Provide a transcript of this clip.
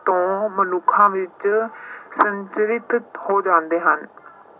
ਤੋਂ ਮਨੁੱਖਾਂ ਵਿੱਚ ਸੰਚਰਿਤ ਹੋ ਜਾਂਦੇ ਹਨ।